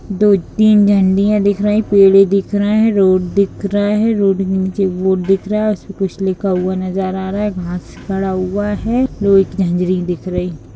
दो तीन झंडियाँ दिख रही है पेड़े दिख रही है रोड दिख रहे है रोड के नीचे बोर्ड दिख रहा है उसपर कुछ लिखा हुआ है नजर आ रहा है घास गरा हुआ है एक झाँझरी दिख रही।